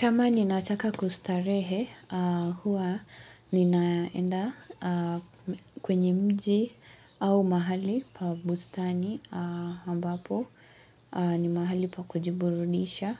Kama ninataka kustarehe, huwa ninaenda kwenye mji au mahali pa bustani ambapo ni mahali pa kujiburudisha